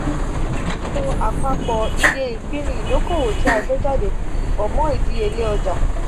tti a ba ro apapọ iye ipini idokowo ti a gbe jade po mo idiyele ọja.